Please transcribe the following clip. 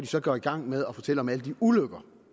så gået i gang med at fortælle om alle de ulykker